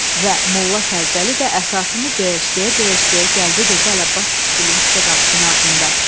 Və Molla Fərzəli də əsasını döyəş-döyəş-döyəş gəldi durdu Əlabbas kişigilinin küçə qapısının ağzında.